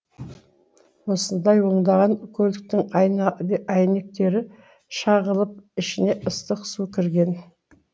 осылай ондаған көліктің әйнектері шағылып ішіне ыстық су кірген